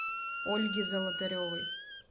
ольги золотаревой